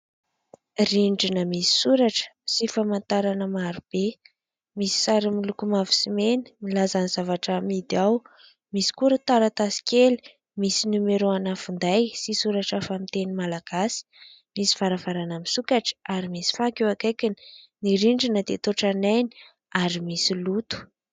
Rindrina misy soratra sy famantarana maro be, misy sary miloko mavo sy mena milaza ny zavatra amidy, misy koa ireo taratasy kely misy nomerao ana finday sy soratra hafa amin'ny teny Malagasy ; misy varavarana misokatra ary misy fako eo akaikiny, ny rindrina dia toa tranainy ary misy loto.